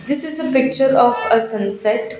this is a picture of a sunset.